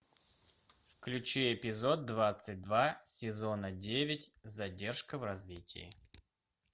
включи эпизод двадцать два сезона девять задержка в развитии